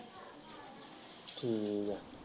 ਠੀਕ ਹੈ